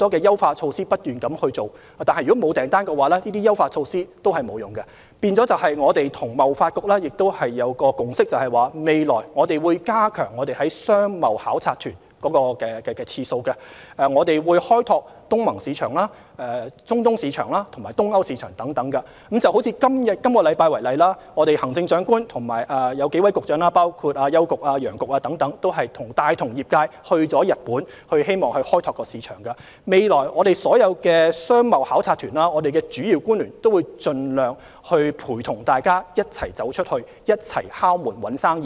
因此，我們與香港貿易發展局達成共識，未來會增加舉辦商貿考察團的次數，亦會開拓東盟市場、中東市場及東歐市場等。以本星期為例，行政長官及數位局長，帶同業界到日本，希望開拓市場。未來舉辦所有商貿考察團，主要官員都會盡量與業界一同走出去，一同敲門找生意。